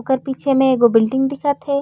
ओकर पीछे म एगो बिल्डिंग दिखत हे।